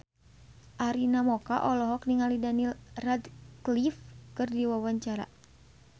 Arina Mocca olohok ningali Daniel Radcliffe keur diwawancara